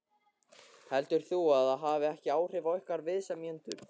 Heldur þú að það hafi ekki áhrif á ykkar viðsemjendur?